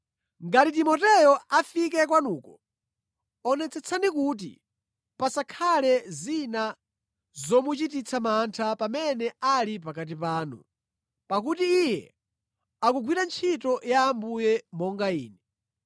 Ngati Timoteyo afike kwanuko, onetsetsani kuti pasakhale zina zomuchititsa mantha pamene ali pakati panu, pakuti iye akugwira ntchito ya Ambuye monga ine.